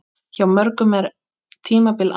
Hjá mörgum er tímabil anna.